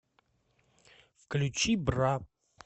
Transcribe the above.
включи бра